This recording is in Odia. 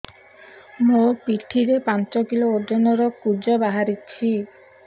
ମୋ ପିଠି ରେ ପାଞ୍ଚ କିଲୋ ଓଜନ ର କୁଜ ବାହାରିଛି